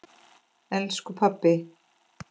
Elsku pabbi.